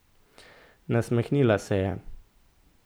Nasmehnila se je.